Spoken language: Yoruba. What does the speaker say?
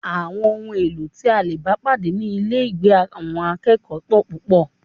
Àwọn ohun èlò tí a lè bá pàdé ní ilégbèé àwọn akẹ́kọ̀ọ́ pọl púpọl